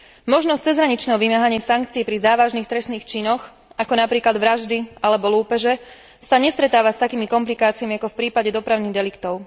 Možnosť cezhraničného vymáhania sankcií pri závažných trestných činoch, ako napríklad vraždy alebo lúpeže, sa nestretáva s takými komplikáciami ako v prípade dopravných deliktov.